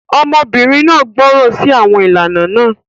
Ọmọbìnrin náà gbọ́ràn sí àwọn ìlànà náà.